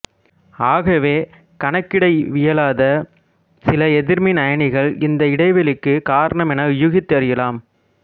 ஆகவே கணக்கிடவியலாத சில எதிர்மின் அயனிகள் இந்த இடைவெளிக்குக் காரணமென ஊகித்தறியலாம்